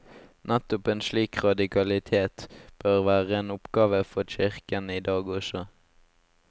Nettopp en slik radikalitet bør være en oppgave for kirken i dag også.